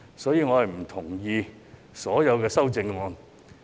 所以，我不同意所有修正案。